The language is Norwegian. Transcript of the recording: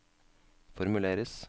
formuleres